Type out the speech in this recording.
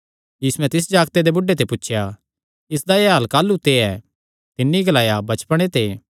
यीशुयैं तिस जागते दे बुढ़े ते पुछया इसदा एह़ हाल काह़लू ते ऐ तिन्नी ग्लाया बचपणे ते